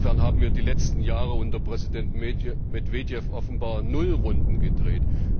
Insofern haben wir die letzten Jahre unter Präsident Medwedew offenbar Nullrunden gedreht.